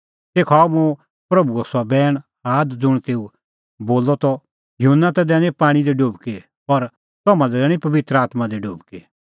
तेखअ आअ मुंह प्रभूओ सह बैण आद ज़ुंण तेऊ बोलअ त इहअ युहन्ना ता दैनी पाणीं दी डुबकी पर तम्हां लै दैणीं पबित्र आत्मां दी डुबकी